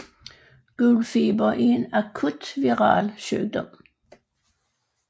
Gul feber er en akut viral sygdom